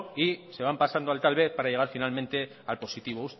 y se van pasando al tal vez para llegar finalmente al positivo